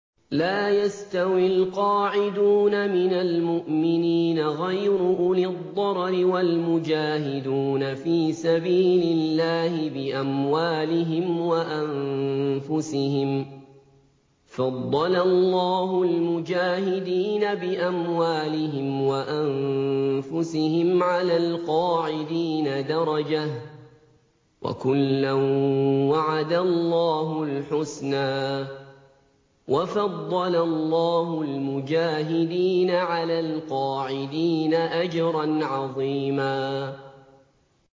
لَّا يَسْتَوِي الْقَاعِدُونَ مِنَ الْمُؤْمِنِينَ غَيْرُ أُولِي الضَّرَرِ وَالْمُجَاهِدُونَ فِي سَبِيلِ اللَّهِ بِأَمْوَالِهِمْ وَأَنفُسِهِمْ ۚ فَضَّلَ اللَّهُ الْمُجَاهِدِينَ بِأَمْوَالِهِمْ وَأَنفُسِهِمْ عَلَى الْقَاعِدِينَ دَرَجَةً ۚ وَكُلًّا وَعَدَ اللَّهُ الْحُسْنَىٰ ۚ وَفَضَّلَ اللَّهُ الْمُجَاهِدِينَ عَلَى الْقَاعِدِينَ أَجْرًا عَظِيمًا